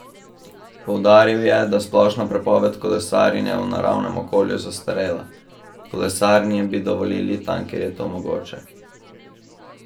Poudaril je, da je splošna prepoved kolesarjenja v naravnem okolju zastarela: "Kolesarjenje bi dovolili tam, kjer je to mogoče.